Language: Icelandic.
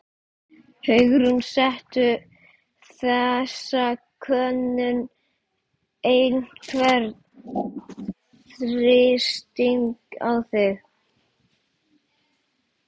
Hugrún: Setur þessi könnun einhvern þrýsting á þig?